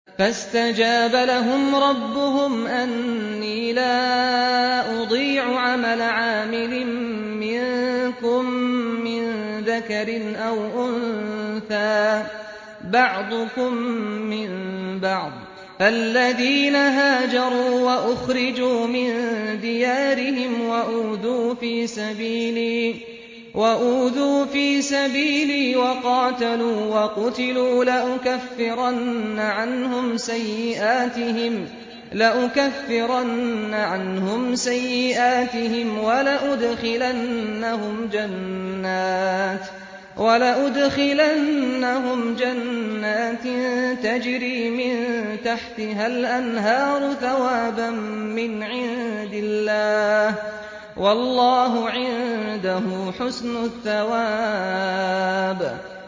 فَاسْتَجَابَ لَهُمْ رَبُّهُمْ أَنِّي لَا أُضِيعُ عَمَلَ عَامِلٍ مِّنكُم مِّن ذَكَرٍ أَوْ أُنثَىٰ ۖ بَعْضُكُم مِّن بَعْضٍ ۖ فَالَّذِينَ هَاجَرُوا وَأُخْرِجُوا مِن دِيَارِهِمْ وَأُوذُوا فِي سَبِيلِي وَقَاتَلُوا وَقُتِلُوا لَأُكَفِّرَنَّ عَنْهُمْ سَيِّئَاتِهِمْ وَلَأُدْخِلَنَّهُمْ جَنَّاتٍ تَجْرِي مِن تَحْتِهَا الْأَنْهَارُ ثَوَابًا مِّنْ عِندِ اللَّهِ ۗ وَاللَّهُ عِندَهُ حُسْنُ الثَّوَابِ